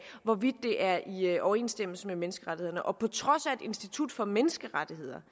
hvorvidt det er i overensstemmelse med menneskerettighederne og på trods af at institut for menneskerettigheder